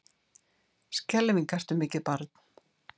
Skelfing ertu mikið barn.